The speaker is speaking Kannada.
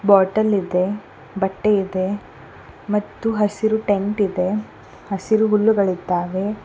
ಬಾಟಲ ಇದೆ ಬಟ್ಟೆ ಇದೆ ಮತ್ತು ಹಸಿರು ಟೇಂಟ ಇದೆ ಹಸಿರು ಹುಲ್ಲುಗಳಿದ್ದಾವೆ.